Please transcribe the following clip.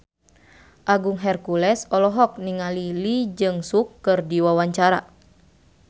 Agung Hercules olohok ningali Lee Jeong Suk keur diwawancara